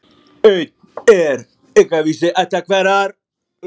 Einn er aukvisi ættar hverrar.